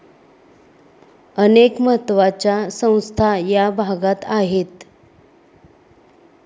अनेक महत्त्वाच्या संस्था या भागात आहेत.